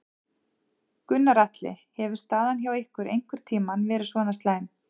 Gunnar Atli: Hefur staðan hjá ykkur einhvern tímann verið svona slæm?